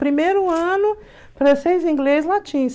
Primeiro ano, francês, inglês, latim.